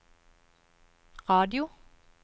radio